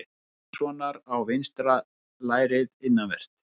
Hallgrímssonar á vinstra lærið innanvert.